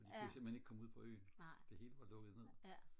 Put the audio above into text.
for de kunne simpelthen ikke komme ud på øen det hele var lukket ned